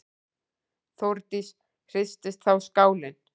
Þórdís: Hristist þá skálinn?